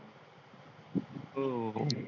हो.